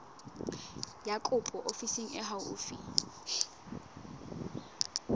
ya kopo ofising e haufi